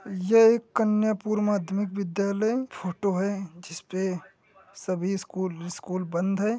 ये एक कन्यापुर माध्यमिक विद्यालय फ़ोटो है जिसपे सभी स्कूल विस्कूल बंद है।